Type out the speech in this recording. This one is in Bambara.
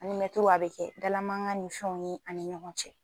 An ni mɛtiriw a be kɛ dala mangan ni fɛnw ye ani ɲɔgɔn cɛ